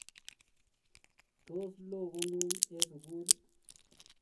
Tos loo kon'ung eng sukul